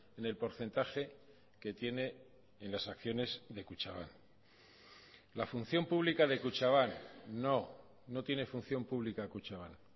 en el porcentaje que tiene en las acciones de kutxabank la función pública de kutxabank no no tiene función pública kutxabank